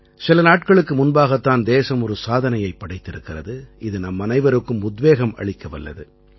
சில நாட்களுக்கு முன்பாகத் தான் தேசம் ஒரு சாதனையைப் படைத்திருக்கிறது இது நம்மனைவருக்கும் உத்வேகம் அளிக்கவல்லது